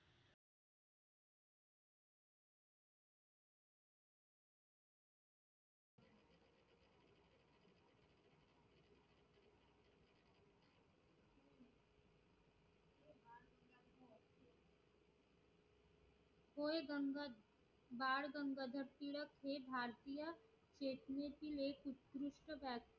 होय गंगाधर बाळ गंगाधर टिळक हे भारतीय technical